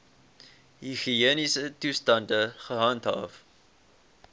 higiëniese toestande gehandhaaf